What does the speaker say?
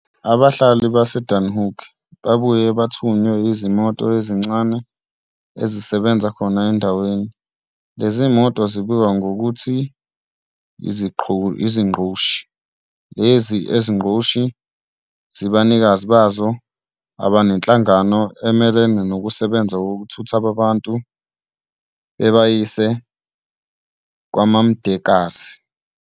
Abahlali baseDasenhoek babuye bathuthwe yizimoto ezincane ezisebenza khona endaweni, lezimoto zibizwa ngokuthiu izingqoshi. Lezi zinqoshi zinabanikazi bazo abanehlangano emelene nokusebenza ukuthutha abantu bebayisa kwaMamdekakazi.